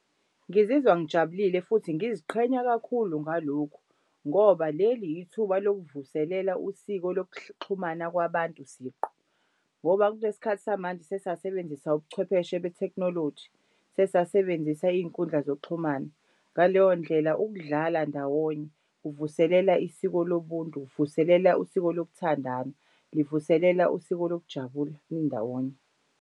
Ngizizwa ngijabulile futhi ngiziqhenya kakhulu ngalokhu ngoba leli ithuba lokuvuselela usiko lokuxhumana kwabantu siqu ngoba kulesi khathi samanje sesasebenzisa ubuchwepheshe betekhnoloji sesasebenzisa iy'nkundla zokuxhumana. Ngaleyo ndlela ukudlala ndawonye kuvuselela isiko lobuntu, kuvuselela usiko lokuthandana, livuselela usiko lokujabula nindawonye.